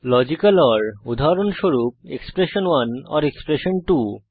logical or উদাহরণস্বরূপ expression one or এক্সপ্রেশন2